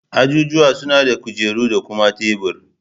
Ajijuwa suna da kujeru da kuma tebur